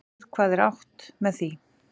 Við hvað er átt með því?